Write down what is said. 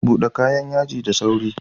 Bude kayan yaji da sauri.